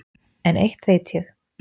En eitt veit ég